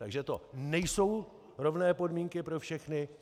Takže to nejsou rovné podmínky pro všechny.